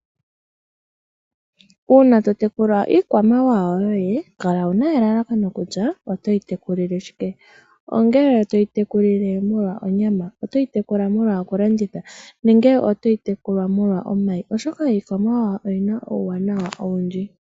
Uuna to tekula iikwamawawa yoye kala wuna elalakano kutya oto yi tekula shike, nongele toyi tekulile molwa onyama, otoyi tekulile molwa oku landitha nenge otoyi tekula molwa omayi, oshoka iikwamawawa oyina uuwanawa owundji.